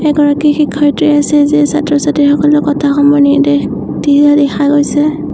এগৰাকী শিক্ষয়িত্ৰী আছে যিয়ে ছাত্ৰ-ছাত্ৰীসকলক কথাসমূহ নিৰ্দেশ দিয়া দেখা গৈছে।